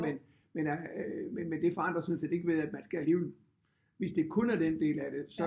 Men men det forandrer sådan set ikke ved at man skal alligevel hvis det kun er den del af det så